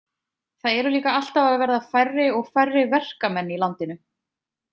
Það eru líka alltaf að verða færri og færri verkamenn í landinu.